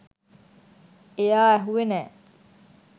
එයා ඇහුවෙ නෑ